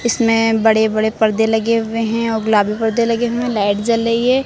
इसमें बड़े-बड़े परदे लगे हुए हैं और गुलाबी परदे लगे हुए हैं। लाइट जल लई है।